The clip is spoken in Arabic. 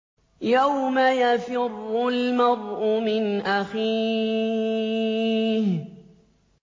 يَوْمَ يَفِرُّ الْمَرْءُ مِنْ أَخِيهِ